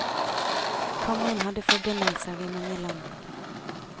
Kongen hadde forbindelser i mange land.